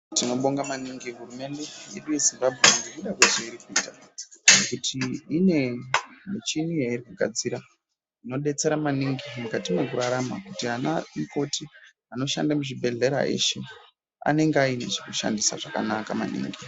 Tinobonga maningi hurumende yedu yeZimbabwe ngekuda kwezveiri kuita ngekuti ine michini yairi kugadzira inodetsera maningi mukati mwekurarama kuti anoshanda muzvibhehlera eshe anenge ane zvekushandisa zvakanaka maningi.